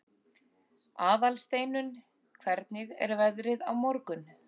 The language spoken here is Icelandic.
Aðalsteinunn, hvernig er veðrið á morgun?